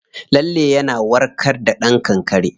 Lalle yana warka da kankare.